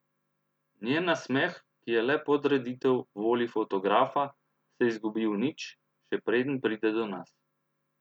Njen nasmeh, ki je le podreditev volji fotografa, se izgubi v nič, še preden pride do nas.